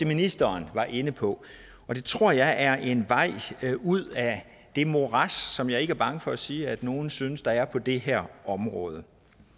ministeren var inde på det tror jeg er en vej ud af det morads som jeg ikke er bange for at sige at nogle synes der er på det her område